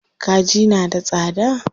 Kaji na da tsada.